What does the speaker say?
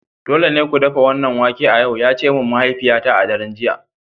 Dole ne ku dafa wannan wake a yau! ya ce min mahaifiyata a daren jiya